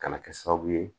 Kana kɛ sababu ye